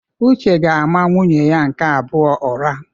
Uche ga-ama nwunye ya nke abụọ ụra.